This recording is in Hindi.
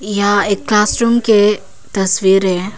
यह एक क्लास रूम के तस्वीर है।